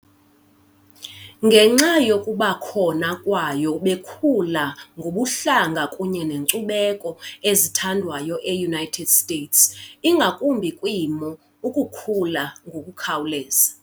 Ngenxa yokuba khona layo bekhula ngobuhlanga kunye nenkcubeko ezithandwayo eUnited States, ingakumbi kwiimo ukukhula ngokukhawuleza